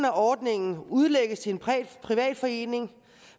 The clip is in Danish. af ordningen udlægges til en privat forening